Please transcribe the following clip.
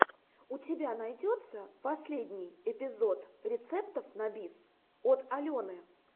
у тебя найдется последний эпизод рецептов на бис от алены